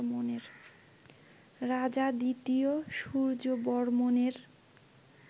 রাজা ২য় সূর্যবর্মণের